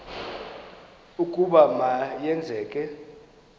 ukuba ma yenzeke